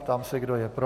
Ptám se, kdo je pro.